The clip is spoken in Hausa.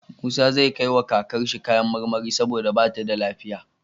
Musa zai kai wa kakar shi kayan marmari saboda bata da lafiya